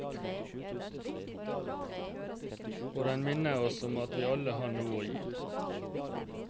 Og den minner oss om at vi alle har noe å gi.